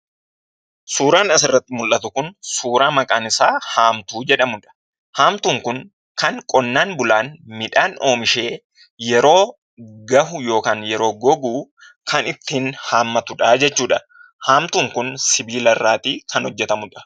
Suuraan asirratti mul'atu kun suuraa maqaan isaa haamtuu jedhamu dha. Haamtuun kun kan qonnaan bulaan midhaan oomishee yeroo gahu (yeroo gogu) kan ittiin haammatu dhaa jechuu dha. Haamtuun kun sibiila irraatii kan hojjetamu dha.